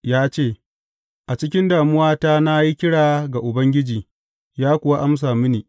Ya ce, A cikin damuwata na yi kira ga Ubangiji, ya kuwa amsa mini.